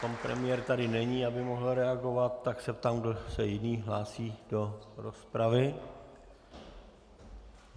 Pan premiér tady není, aby mohl reagovat, tak se ptám, kdo se jiný hlásí do rozpravy.